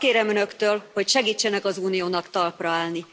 Azt kérem Önöktől, hogy segítsenek az Uniónak talpra állni.